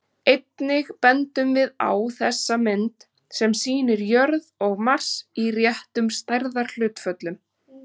Einnig bendum við á þessa mynd, sem sýnir jörð og Mars í réttum stærðarhlutföllum.